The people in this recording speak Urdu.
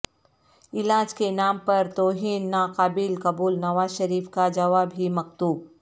علاج کے نام پر توہین ناقابل قبول نواز شریف کا جوابی مکتوب